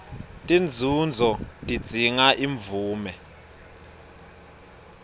tinzunzo tidzinga imvume